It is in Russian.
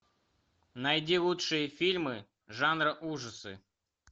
найди лучшие фильмы жанра ужасы